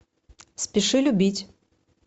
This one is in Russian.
спеши любить